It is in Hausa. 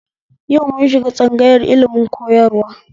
Yau mun shiga tsangayar ilimin koyarwa